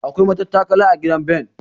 Akwai matattakala a gidan Ben.